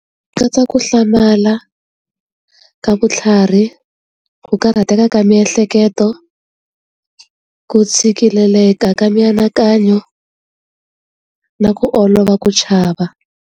Ku katsa ku hlamala ka vutlhari, ku karhateka ka miehleketo, ku tshikeleleka ka mianakanyo na ku olova ku chava.